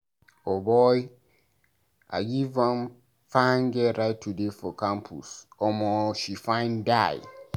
O boy, I give wan fine girl ride today for campus, omo she fine die.